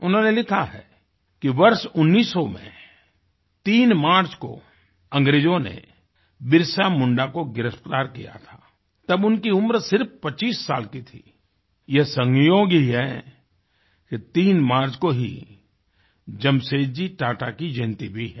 उन्होंने लिखा है कि वर्ष 1900 में 3 मार्च को अंग्रेजों ने बिरसा मुंडा को गिरफ्तार किया था तब उनकी उम्र सिर्फ 25 साल की थी ये संयोग ही है कि 3 मार्च को ही जमशेदजी टाटा की जयंती भी है